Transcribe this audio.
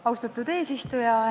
Austatud eesistuja!